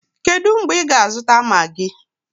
Kedụ mgbe ị ga-azụta maagi?